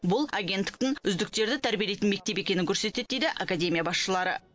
бұл агенттіктің үздіктерді тәрбиелейтін мектеп екенін көрсетеді дейді академия басшылары